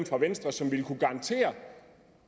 fra venstre som ville kunne garantere